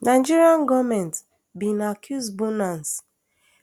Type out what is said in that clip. nigeria goment bin accuse bunance